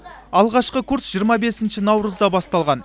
алғашқы курс жиырма бесінші наурызда басталған